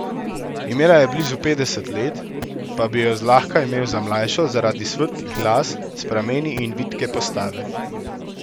Imela je blizu petdeset let, pa bi jo zlahka imel za mlajšo zaradi svetlih las s prameni in vitke postave.